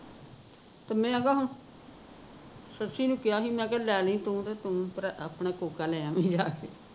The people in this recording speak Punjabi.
ਤੇ ਮੈਂ ਕਿਹਾ ਸੱਸੀ ਨੂੰ ਕਿਹਾ ਸੀ ਮੈਂ ਕਿਹਾ ਲੈ ਲਈ ਤੂੰ ਤੇ ਤੂ ਆਪਣਾ ਕੋਕਾ ਲੈ ਆਵੀਂ ਜਾ ਕੇ